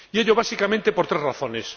Y ello básicamente por tres razones.